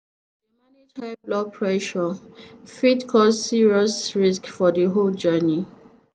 blood pressure fit cause serious risks for the whole journey